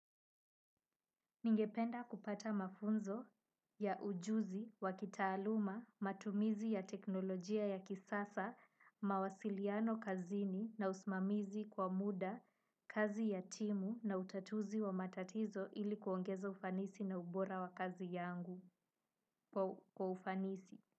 Ningependa kupata mafunzo ya ujuzi, wa kitaaluma, matumizi ya teknolojia ya kisasa, mawasiliano kazini na usimamizi kwa muda, kazi ya timu na utatuzi wa matatizo ili kuongeza ufanisi na ubora wa kazi yangu kwa ufanisi.